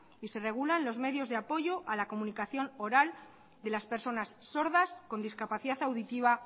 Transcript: y se regulan los medios de apoyo a la comunicación oral de las personas sordas con discapacidad auditiva